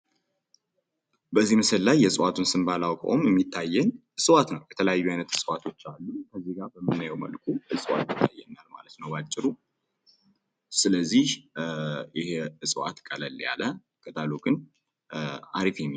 በዚህ ምስል ላይ የእጽዋቱን ስም ባላቀውም የሚታየኝ እጽዋት ነው። የተለያዩ አይነት እጽዋቶች አሉ። እዚጋ በምናየው መልኩ እጽዋት ይታየኛል ማለት ነው በአጭሩ። ስለዚህ ይሄ እጽዋት ቀለል ያለ ቅጠሉ አሪፍ ግን የሚባል